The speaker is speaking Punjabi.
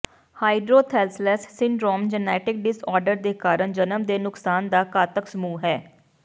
ਹਾਈਡਰੋਥੈਲਸਲਸ ਸਿੰਡਰੋਮ ਜੈਨੇਟਿਕ ਡਿਸਆਰਡਰ ਦੇ ਕਾਰਨ ਜਨਮ ਦੇ ਨੁਕਸ ਦਾ ਘਾਤਕ ਸਮੂਹ ਹੈ